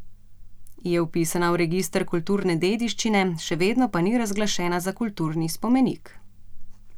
Je vpisana v register kulturne dediščine, še vedno pa ni razglašena za kulturni spomenik.